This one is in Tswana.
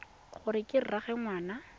gore ke ena rraagwe ngwana